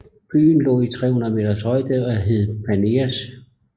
Byen lå i 350 meters højde og hed Paneas